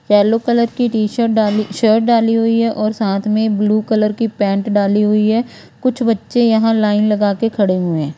yellow colour की T shirt डाली shirt डाली हुई है और साथ में ब्लू कलर की पैन्ट डाली हुई है कुछ बच्चे यहां लाइन लगाकर खड़े हुए--